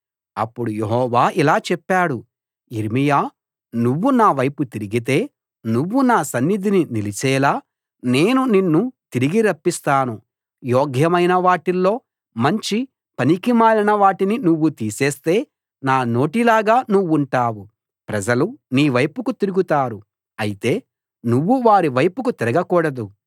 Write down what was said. అప్పుడు యెహోవా ఇలా చెప్పాడు యిర్మీయా నువ్వు నావైపు తిరిగితే నువ్వు నా సన్నిధిని నిలిచేలా నేను నిన్ను తిరిగి రప్పిస్తాను యోగ్యమైన వాటిలో నుంచి పనికిమాలిన వాటిని నువ్వు తీసేస్తే నా నోటిలాగా నువ్వుంటావు ప్రజలు నీవైపుకు తిరుగుతారు అయితే నువ్వు వారి వైపుకు తిరగకూడదు